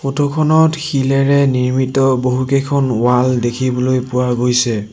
Photo খনত শিলেৰে নিৰ্মিত বহুকেইখন ৱাল দেখিবলৈ পোৱা গৈছে।